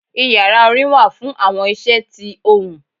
Ìyará orin wa fún awọn iṣẹ tí ohún.